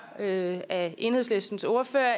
af af enhedslistens ordfører